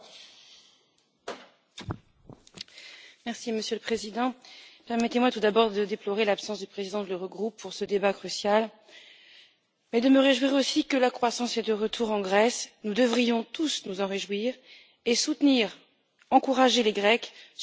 Monsieur le Président, permettez moi tout d'abord de déplorer l'absence du président de l'Eurogroupe pour ce débat crucial mais de me réjouir aussi que la croissance soit de retour en Grèce. Nous devrions tous nous en réjouir et soutenir et encourager les Grecs, sur lesquels les marchés financiers se sont tant acharnés.